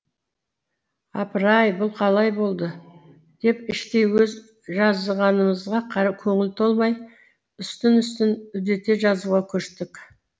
апыр ай бұл қалай болды деп іштей өз жазғанымызға көңіл толмай үстін үстін үдете жазуға көштік